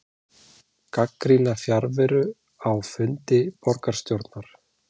Gagnrýna fjarveru á fundi borgarstjórnar